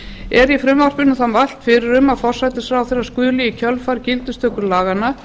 er í frumvarpinu því mælt fyrir um að forsætisráðherra skuli í gildistöku laganna